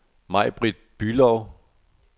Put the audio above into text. Majbrit Bülow